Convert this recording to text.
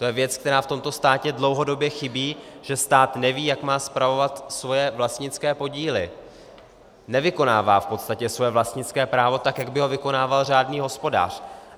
To je věc, která v tomto státě dlouhodobě chybí, že stát neví, jak má spravovat svoje vlastnické podíly, nevykonává v podstatě svoje vlastnické právo tak, jak by ho vykonával řádný hospodář.